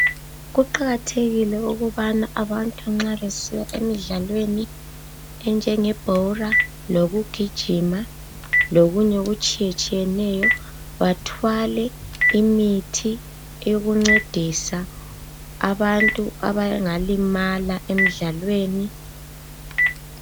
Kuqakathekile ukubana abantu nxa besiya emidlalweni enjengebhola lokugijima lokunye okutshiyetshiyeneyo bathwale imithi yokuncedisa abantu abangalimala emidlalweni.